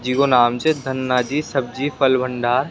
जिको नाम से धना जी सब्जी फल भंडार।